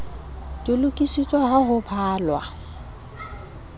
di lokisitswe ha ho balwa